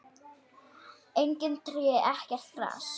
Engin tré, ekkert gras.